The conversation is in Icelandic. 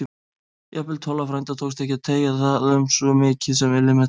Jafnvel Tolla frænda tókst ekki að beygja það um svo mikið sem millimeter.